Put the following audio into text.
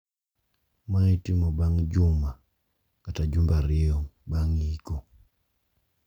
Ma itimo bang` juma kata jumbe ariyo bang` iko.